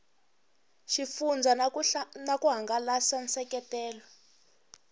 xifundzha na ku hangalasa nseketelo